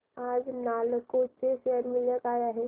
आज नालको चे शेअर मूल्य काय आहे